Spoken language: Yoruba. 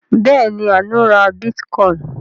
Bẹ́ẹ̀ ni, Àánú ra bítíkọ́ìn.